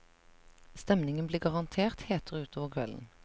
Stemningen blir garantert hetere utover kvelden.